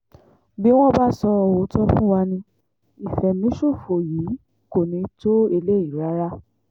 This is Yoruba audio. bí wọ́n bá sọ òótọ́ fún wa ní ìfẹ̀míṣòfò yìí kò ní í tó eléyìí rárá